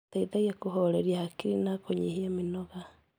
Gũteithagia kũhoreria hakiri na kũnyihia mĩnoga.